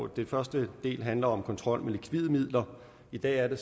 det første handler om kontrol med likvide midler i dag er det